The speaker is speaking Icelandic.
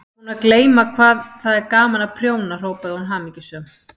Ég var búin að gleyma hvað það er gaman að prjóna hrópaði hún hamingjusöm.